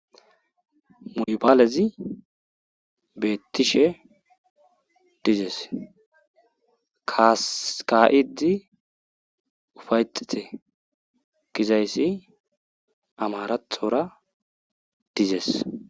Mobilez betishe dizes, ka'id ufa'etite gizays amarathora dizesi.